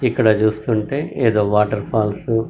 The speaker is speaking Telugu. ఇక్కడ చూస్తుంటే ఏదో వాటర్ ఫాల్స్ --